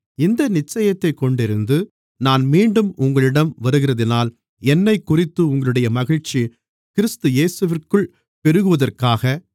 இந்த நிச்சயத்தைக்கொண்டிருந்து நான் மீண்டும் உங்களிடம் வருகிறதினால் என்னைக்குறித்து உங்களுடைய மகிழ்ச்சி கிறிஸ்து இயேசுவிற்குள் பெருகுவதற்காக